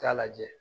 Taa lajɛ